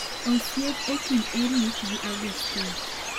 Osiep e Kind Erick gi Agustino